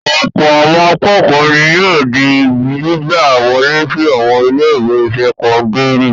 Ọ̀pọ̀ àwọn akẹ́kọ̀ọ́ ni yóò di gbígbà wọlé sí àwọn ilé-ìwé sẹ́kọ́ndárì.